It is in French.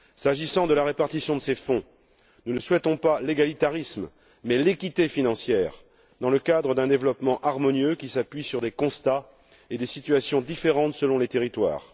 S'agissant de la répartition de ces fonds, nous ne souhaitons pas l'égalitarisme, mais l'équité financière, dans le cadre d'un développement harmonieux qui s'appuie sur des constats et sur des situations différentes selon les territoires.